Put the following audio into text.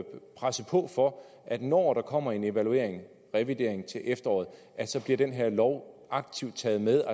presse på for at når der kommer en evalueringrevidering til efteråret bliver den her lov aktivt taget med